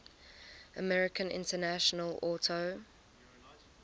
american international auto